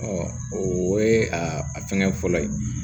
o ye a fɛngɛ fɔlɔ ye